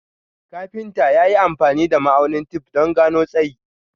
Kafinta ya yi amfani da ma'aunin tef don gano tsayi.